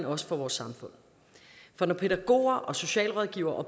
også for vores samfund for når pædagoger og socialrådgivere og